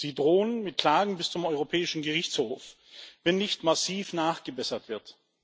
Sie drohen mit Klagen bis zum Europäischen Gerichtshof, wenn nicht massiv nachgebessert wird.